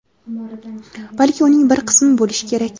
balki uning bir qismi bo‘lishi kerak.